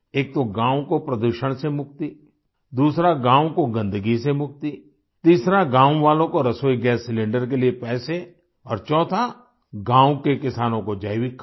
एक तो गाँव को प्रदूषण से मुक्ति दूसरा गाँव को गन्दगी से मुक्ति तीसरा गाँव वालों को रसोई गैस सिलेंडर के लिए पैसे और चौथा गाँव के किसानों को जैविक खाद